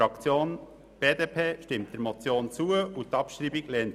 Die BDP-Fraktion stimmt der Motion zu und lehnt deren Abschreibung ab.